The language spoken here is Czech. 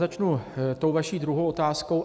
Začnu tou vaší druhou otázkou.